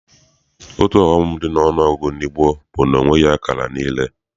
Otu ọghọm dị n'ọnụọgụgụ ndị gboo bụ na ọ nweghị akara niile.